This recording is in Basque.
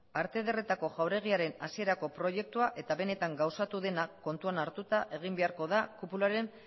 arte ederretako jauregiaren hasierako proiektua eta benetan gauzatu dena kontuan hartuta egin beharko da kupularen